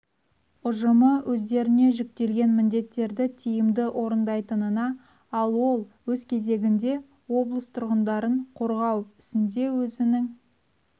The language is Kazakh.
ұжымы өздеріне жүктелген міндеттерді тиімді орындайтынына ал ол өз кезегінде облыс тұрғындарын қорғау ісінде өзінің